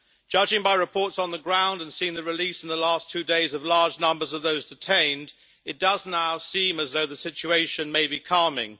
Judging by reports on the ground, and seeing the release in the last two days of large numbers of those detained, it does now seem as though the situation may be calming.